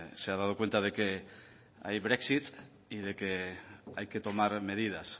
se ha dado cuenta de que hay brexit y de que hay que tomar medidas